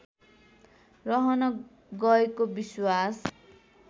रहन गएको विश्वास